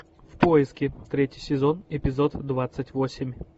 в поиске третий сезон эпизод двадцать восемь